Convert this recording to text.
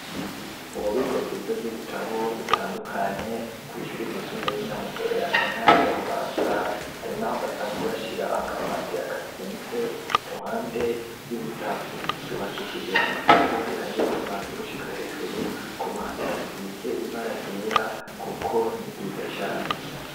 Ububiko bwiza, bw'ibitabo, bitandukanye, kw’ishuri ryisumbeye, ry'i Nyamugerera, mu ntara ya Bubanza; hari n'aho, basanzwe bashira, akamatera, kazinze, iruhande y'ibitabo; ryubakishije amatafari, ahiye, kuva hasi, gushika hejuru; ku ruhande, hasize ibara ryera, kuko ni ryiza cane.